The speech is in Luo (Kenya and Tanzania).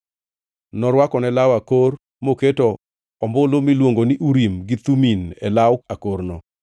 Norwakone law akor, moketo ombulu miluongo ni Urim gi Thumim e law akorno.